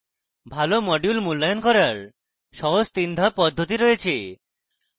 ভালো module মূল্যায়ন করার সহজ 3 ধাপ পদ্ধতি রয়েছে